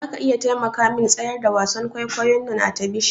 Zaka iya taimakamin tsayar da wasan kwaikwayon nan a tabishin?